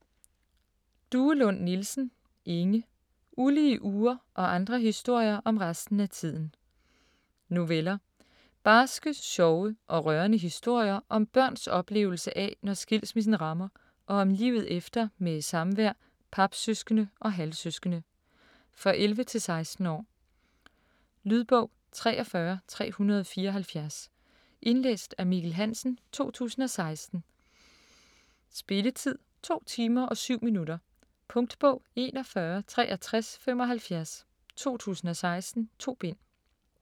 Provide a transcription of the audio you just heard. Duelund Nielsen, Inge: Ulige uger: og andre historier om resten af tiden Noveller. Barske, sjove og rørende historier om børns oplevelse af, når skilsmissen rammer og om livet efter med samvær, papsøskende og halvsøskende. For 11-16 år. Lydbog 43374 Indlæst af Mikkel Hansen, 2016. Spilletid: 2 timer, 7 minutter. Punktbog 416375 2016. 2 bind.